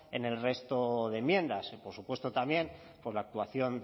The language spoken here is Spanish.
en el resto de enmiendas por supuesto también por la actuación